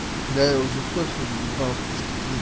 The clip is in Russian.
да я уже кофе въебал кружки три